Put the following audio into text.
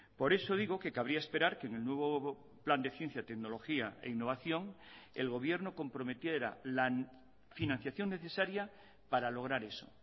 por eso digo que cabría esperar que en el nuevo plan de ciencia tecnología e innovación el gobierno comprometiera la financiación necesaria para lograr eso